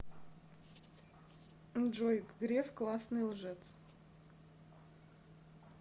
джой греф классный лжец